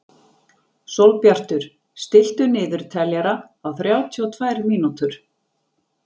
Sólbjartur, stilltu niðurteljara á þrjátíu og tvær mínútur.